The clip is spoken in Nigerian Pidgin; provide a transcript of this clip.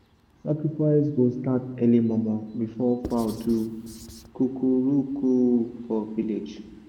sacrifice go start early momo before fowl go do coo-coo-roo-coo for village.